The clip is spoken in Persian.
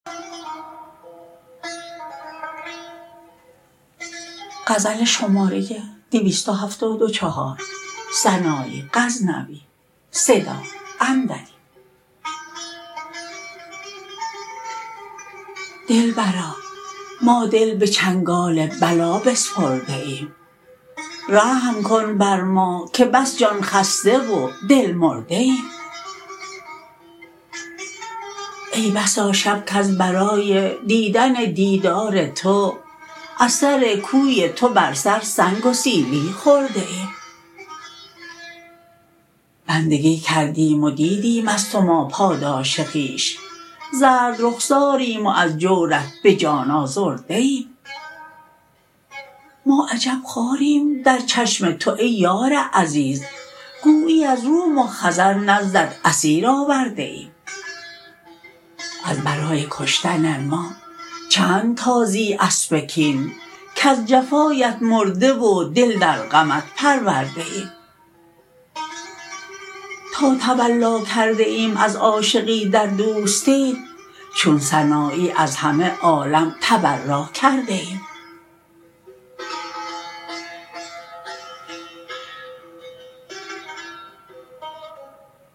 دلبرا ما دل به چنگال بلا بسپرده ایم رحم کن بر ما که بس جان خسته و دل مرده ایم ای بسا شب کز برای دیدن دیدار تو از سر کوی تو بر سر سنگ و سیلی خورده ایم بندگی کردیم و دیدیم از تو ما پاداش خویش زرد رخساریم و از جورت به جان آزرده ایم ما عجب خواریم در چشم تو ای یار عزیز گویی از روم و خزر نزدت اسیر آورده ایم از برای کشتن ما چند تازی اسب کین کز جفایت مرده و دل در غمت پرورده ایم تا تولا کرده ایم از عاشقی در دوستیت چون سنایی از همه عالم تبرا کرده ایم